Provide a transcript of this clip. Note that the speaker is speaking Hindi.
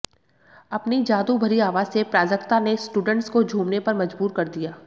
अपनी जादू भरी आवाज से प्राजक्ता ने स्टूडेंट्स को झूमने पर मजबूर कर दिया